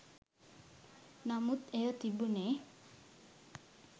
නමුත් එය තිබුණේ